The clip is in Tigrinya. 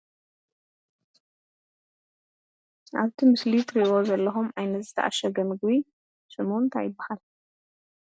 ኣብቲ ምስሊ እትሪእዎ ዘለኹም ዓይነት ዝተኣሸገ ምግቢ ሽሙ እንታይ ይበሃል።